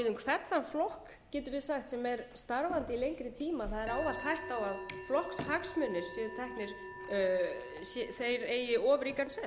um hvern þann flokk getum við sagt sem er starfandi í lengri tíma það er ávallt hætta á að flokkshagsmunir séu teknir þeir eigi of ríkan sess hins